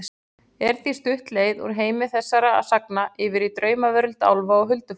Er því stutt leið úr heimi þessara sagna yfir í draumaveröld álfa og huldufólks.